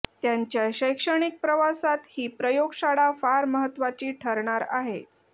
त्यांच्या शैक्षणिक प्रवासात ही प्रयोगशाळा फार महत्वाची ठरणार आहे